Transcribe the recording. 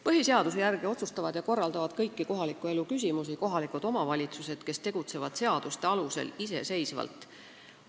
Põhiseaduse järgi otsustavad ja korraldavad kõiki kohaliku elu küsimusi kohalikud omavalitsused, kes tegutsevad seaduste alusel iseseisvalt.